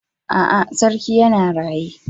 A'a, sarki yana raye.